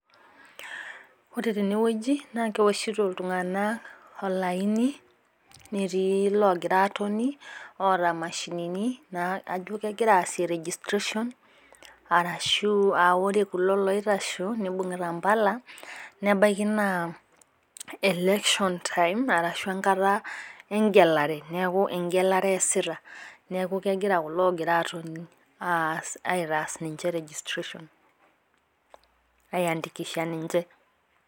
Ore teneweji naa keoshito iltunganak olaini, netioi loogira atoni oota mashinini kajo kegira aasie registration arashu ore kulo aitashe neibungita mpala, nelelek aa election time enaa enkata engelare .Neeku engelare eesita neeku kegira kulo otonita aitaas ninche registration. aiandikisha ninche.